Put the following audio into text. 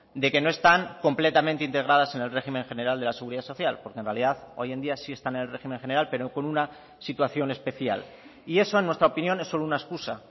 de que no están completamente integradas en el régimen general de la seguridad social porque en realidad hoy en día sí están en el régimen general pero con una situación especial y eso en nuestra opinión es solo una excusa